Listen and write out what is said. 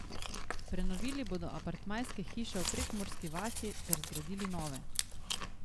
Prenovili bodo apartmajske hiške v Prekmurski vasi ter zgradili nove.